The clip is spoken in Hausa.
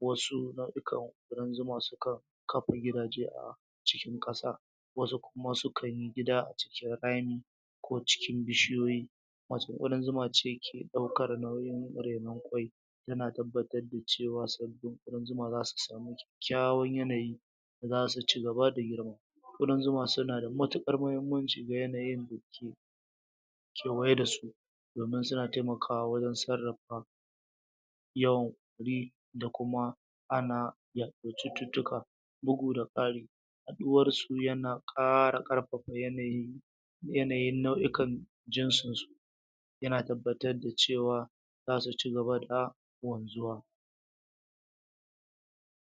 wasu na'ikan ƙudan zuma sukan kafa gidaje a cikin ƙasa wasu kuma sukan yi gida a cikin rami ko cikin bishiyoyi macen ƙudan zuma ce ɗaukar nauyin rainon ƙwai yana tabbatar da cewa sabbin ƙudan zuma zasu samu kyakkyawan yanayi da zasu cigaba da girma ƙudan zuma suna da matuƙar mahimmanci ga yanayin da ke kewaye da su domin suna taimakawa wajen sarrafa yawan ƙuri da kuma ana yaɗar cututtuka buga da ƙari yaɗuwarsu yana ƙara ƙarfafa yanayin yanayin nau'ikan jinsu yana tabbatar da cewa zasu cigaba da wanzuwa